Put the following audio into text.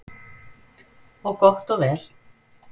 Og gott og vel.